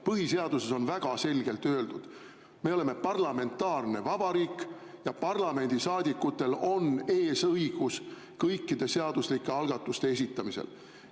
Põhiseaduses on väga selgelt öeldud, et me oleme parlamentaarne vabariik ja parlamendisaadikutel on eesõigus kõikide seaduslike algatuste esitamisel.